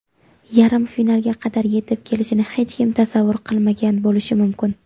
yarim finalga qadar yetib kelishini hech kim tasavvur qilmagan bo‘lishi mumkin.